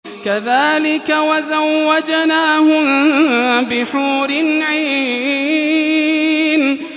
كَذَٰلِكَ وَزَوَّجْنَاهُم بِحُورٍ عِينٍ